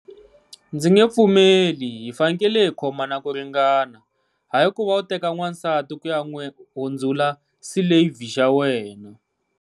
Ndzi nge pfumeli hi fanekele hi khomana ku ringana, hayi ku va u teka n'wansati ku ya n'wi hundzula slave xa wena.